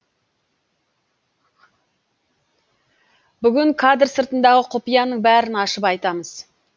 бүгін кадр сыртындағы құпияның бәрін ашып айтамыз